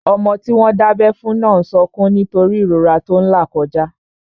Ọmọ tí wọ́n dábẹ́ fún náà n sọkún nítorí ìrora tó n là kọjá